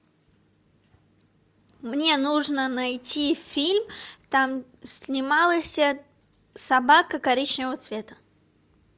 мне нужно найти фильм там снималась собака коричневого цвета